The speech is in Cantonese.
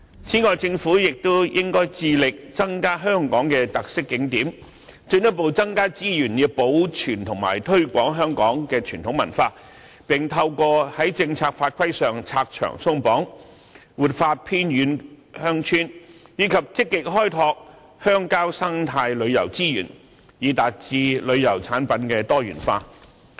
此外，政府亦應該致力增加香港的特色景點，進一步增加資源，以保存和推廣香港的傳統文化，並透過在政策法規上拆牆鬆綁，活化偏遠鄉村，以及積極開拓鄉郊生態旅遊資源，以達致旅遊產品多元化。